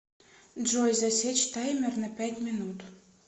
джой засечь таймер на пять минут